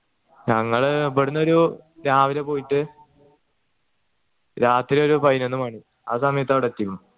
ഞങ്ങൾ ഇവിടുന്നൊരു രാവിലെ പോയിട്ട് രാത്രി ഒരു പയിനോന്ന് മണി ആ സമയത്ത് അങ്ങട് എത്തീക്കുണ്